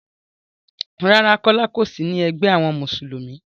Rárá, Kọ́lá ò sí ní egbé àwọn Mùsùlùmí.